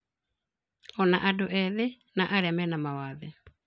Ona andũ ethĩ na arĩa mena mawathe